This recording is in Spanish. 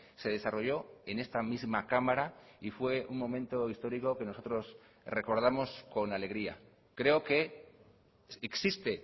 se desarrollo en esta misma cámara y fue un momento histórico que nosotros recordamos con alegría creo que existe